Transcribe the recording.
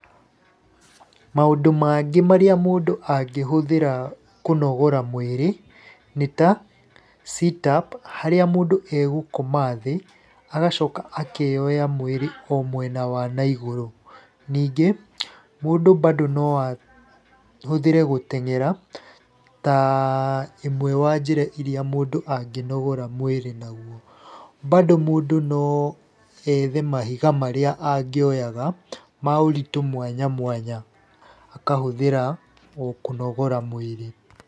Maũndũ mangĩ marĩa mũndũ angĩhũthĩra kũnogora mwirĩ, nĩ ta, sit up harĩa mũndũ egũkoma thĩ agacoka akeyoya mwĩrĩ o mwena wa naigũrũ. Ningĩ mũndũ bado no ahũthĩre gũteng'era ta imwe wa njĩra iria mũndũ angĩnogora mwĩrĩ naguo. Bado mũndũ no ethe mahiga marĩa angioyaga ma ũritũ mwanya mwanya, akahũthĩra o kũnogora mwĩrĩ.